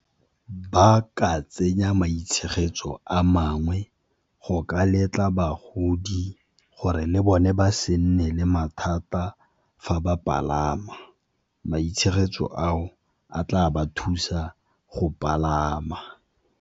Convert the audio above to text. Ba ka tsenya maitshegetso a mangwe go ka letla bagodi gore le bone ba se nne le mathata fa ba palama, maitshegetso ao a tla ba thusa go palama.